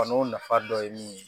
Kɔni o nafa dɔ ye min ye